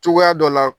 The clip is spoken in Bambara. Cogoya dɔ la